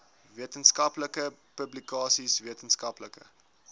wetenskaplike publikasies wetenskaplike